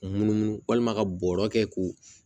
Munumunu walima ka bɔrɔ kɛ k'o